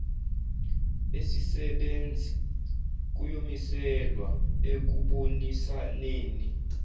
esisebenzi kuyomiselwa ekubonisaneni